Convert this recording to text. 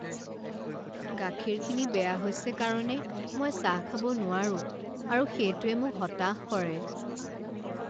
গাখীৰখিনি বেয়া হৈছে কাৰণে মই চাহ খাব নোৱাৰো আৰু সেইটোৱে মোক হতাশ কৰে।